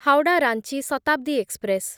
Howrah Ranchi Shatabdi express